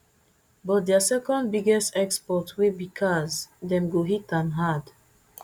but dia second biggest export wey be cars dem go hit am hard